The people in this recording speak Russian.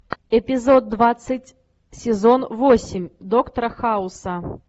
эпизод двадцать сезон восемь доктора хауса